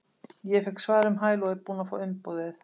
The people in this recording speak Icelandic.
Ég fékk svar um hæl og er búinn að fá umboðið.